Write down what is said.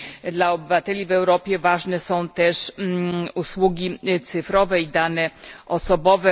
Dla obywateli w Europie ważne są też usługi cyfrowe i dane osobowe.